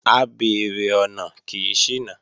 Abeèrè ọ̀nà kì í ṣìnà